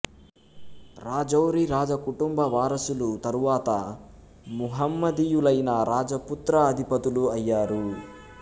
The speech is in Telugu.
రాజౌరి రాజకుటుంబ వారసులు తరువాత ముహమ్మదీయులైన రాజపుత్ర అధిపతులు అయ్యారు